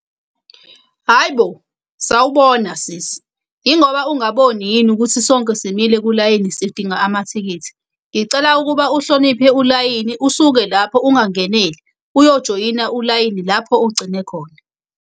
Hhayi bo! Sawubona sisi. Yingoba ungaboni yini ukuthi sonke simile kulayini sidinga amathikithi? Ngicela ukuba uhloniphe ulayini, usuke lapho ungangeneli, uyojoyina ulayini lapho ogcine khona.